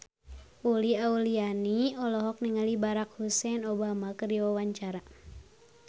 Uli Auliani olohok ningali Barack Hussein Obama keur diwawancara